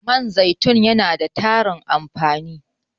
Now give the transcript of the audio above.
Man zaitun yana da tarin amfani.